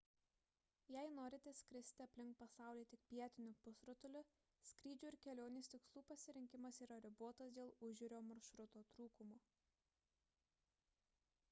jei norite skristi aplink pasaulį tik pietiniu pusrutuliu skrydžių ir kelionės tikslų pasirinkimas yra ribotas dėl užjūrio maršrutų trūkumo